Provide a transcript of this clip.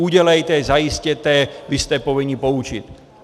Udělejte, zajistěte, vy jste povinni poučit!